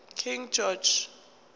king george